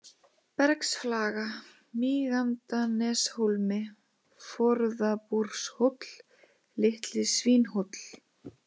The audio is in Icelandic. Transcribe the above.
Bergsflaga, Mígandaneshólmi, Forðabúrshóll, Litli-Svínhóll